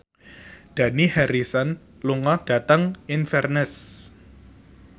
Dani Harrison lunga dhateng Inverness